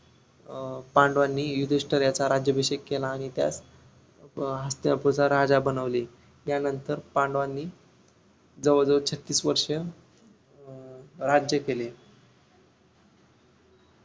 अं पांडवांनी युधिष्टिर याचा राज्याभिषेक केला आणि त्यास अं हस्तिनापूरच्या राजा बनविले यानंतर पांडवांनी जवळ जवळ छत्तीस वर्ष अं राज्य केले